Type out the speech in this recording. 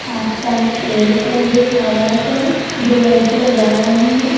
आसपास पेड़ पौधे फ्लावर्स हैं दो लड़कियां जा रही हैं।